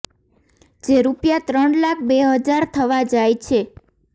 જે રૂપિયા ત્રણ લાખ બે હજાર થવા જાય છે